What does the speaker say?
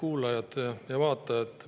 Head kuulajad ja vaatajad!